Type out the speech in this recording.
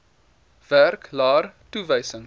werk laer toewysings